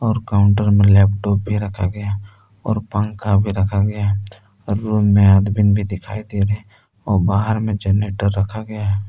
Counter में laptop भी रखा गया है और पंखा भी रखा गया है और रूम में आदमीन भी दिखाई दे रहे और बाहर में जनरेटर रखा गया है।